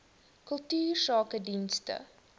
kultuursakedienste